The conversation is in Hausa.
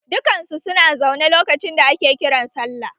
Dukan su su na zaune lokacin da ake sallah